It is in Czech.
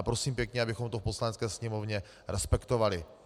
A prosím pěkně, abychom to v Poslanecké sněmovně respektovali.